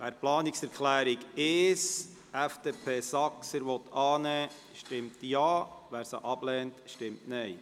Wer die Planungserklärung Nr. 1 FDP/Saxer annehmen möchte, stimmt Ja, wer diese ablehnt, stimmt Nein.